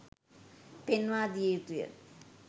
පෙන්වා දිය යුතුය